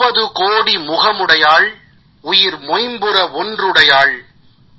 মুপ্পাধু কোদি মুগামুদায়াল এনিল মাইপুরম ওন্দ্রুদয়াল